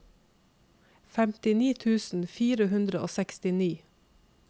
femtini tusen fire hundre og sekstini